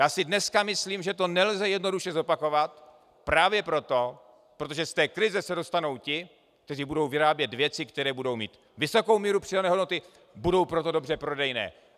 Já si dneska myslím, že to nelze jednoduše zopakovat právě proto, protože z té krize se dostanou ti, kteří budou vyrábět věci, které budou mít vysokou míru přidané hodnoty, budou proto dobře prodejné.